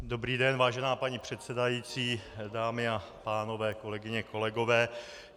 Dobrý den, vážená paní předsedající, dámy a pánové, kolegyně, kolegové.